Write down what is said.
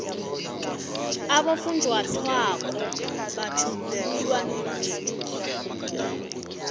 abofunjathwako batjhugululwa ngemihla